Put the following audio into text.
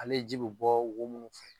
Ale ji be bɔ wo munnu fɛ